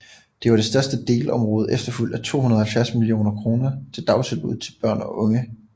Det var det største delområde efterfulgt at 270 millioner kroner til dagtilbud til børn og unge